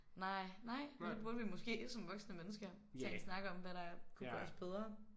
Nej. Nej men det burde vi måske som voksne mennesker tage en snak om hvad der kunne gøres bedre